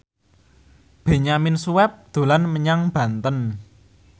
Benyamin Sueb dolan menyang Banten